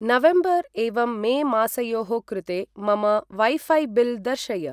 November एवं May मासयोः कृते मम वैफै बिल् दर्शय।